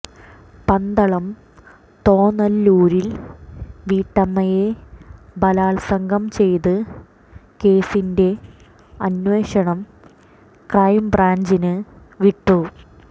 പന്തളം തോന്നല്ലൂരിൽ വീട്ടമ്മയെ ബലാത്സംഗം ചെയ്ത കേസിന്റെ അന്വേഷണം ക്രൈംബ്രാഞ്ചിന് വിട്ടു